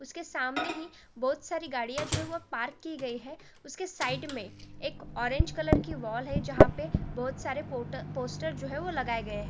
उसके सामने ही बहोत सारी गाड़ियां जो हैं वो पार्क की गई हैं उसके साइड में एक ऑरेंज कलर की वॉल हैं जहाँ पे बहुत सारे पॉटर पोस्टर जो हैं वो लगाए गए हैं।